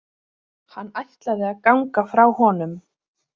Hann ætlaði að ganga frá honum.